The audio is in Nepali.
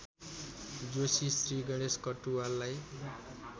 जोशी श्रीगणेश कटुवाललाई